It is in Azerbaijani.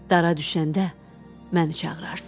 Dara düşəndə məni çağırarsan.